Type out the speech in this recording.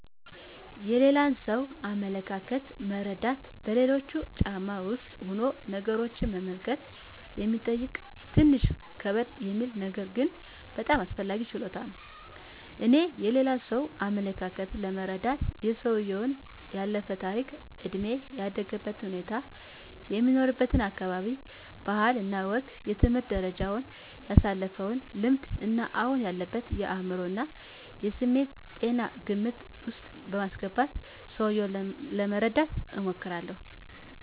የሌላን ሰው አመለካከት መረዳት በሌሎች ጫማ ውስጥ ሁኖ ነገሮችን መመልከት የሚጠይቅ ትንሽ ከበድ የሚል ነገር ግን በጣም አስፈላጊ ችሎታ ነው። እኔ የሌላ ሰውን አመለካከት ለመረዳት የሰውየውን ያለፈ ታሪክ፣ እድሜ፣ ያደገበትን ሁኔታ፣ የሚኖርበትን አካባቢ ባህል እና ወግ፣ የትምህርት ደረጃውን፣ ያሳለፈውን ልምድ እና አሁን ያለበትን የአዕምሮ እና የስሜት ጤና ከግምት ዉስጥ በማስገባት ሰውየውን ለመረዳት እሞክራለሁ።